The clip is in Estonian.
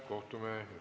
Kohtume esmaspäeval.